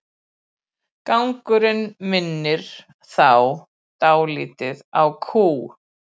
Gangurinn minnir þá dálítið á kú.